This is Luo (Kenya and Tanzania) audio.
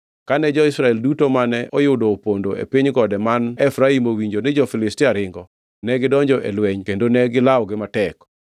Kane jo-Israel duto mane oyudo opondo e piny gode man Efraim owinjo ni jo-Filistia ringo, negidonjo e lweny kendo ne gilawogi matek.